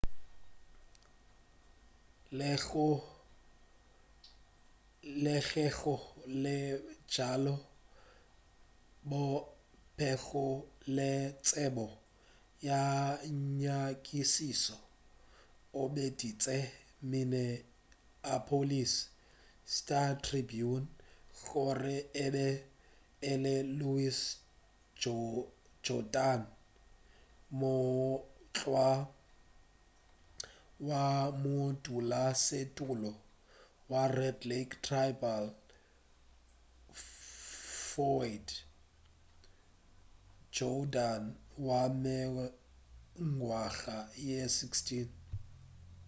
le ge go le bjalo yo a bego le tsebo ya nyakišišo o boditše minneapolis star-tribune gore e be e le louis jourdain morwa wa modulasetulo wa red lake tribal floyd jourdain wa mengwaga ye 16